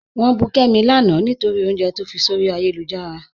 Wọn bù Kẹ́mi láńà nítorí ọ̀unjẹ̀ tó fí sọ̀rí ayélujára.